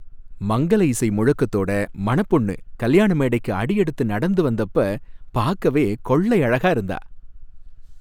மங்கல இசை முழக்கத்தோட மணப்பொண்ணு கல்யாண மேடைக்கு அடி எடுத்து நடந்து வந்தப்ப பாக்கவே கொள்ளை அழகா இருந்தா.